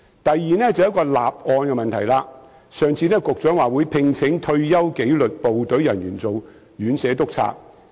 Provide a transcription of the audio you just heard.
第二，就是立案的問題，上次局長表示會聘請退休紀律部隊人員做院舍督察。